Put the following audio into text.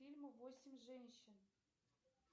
фильм восемь женщин